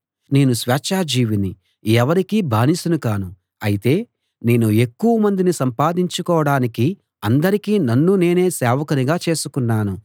నేను స్వేచ్ఛాజీవిని ఎవరికీ బానిసను కాను అయితే నేను ఎక్కువమందిని సంపాదించుకోడానికి అందరికీ నన్ను నేనే సేవకునిగా చేసుకున్నాను